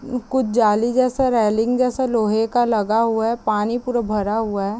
उ कुछ जाली जैसा रेलिंग जैसा लोहे का लगा हुआ है। पानी पूरा भरा हुआ है।